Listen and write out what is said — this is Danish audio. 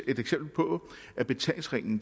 et eksempel på at betalingsringen